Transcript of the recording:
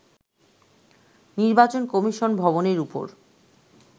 নির্বাচন কমিশন ভবনের ওপর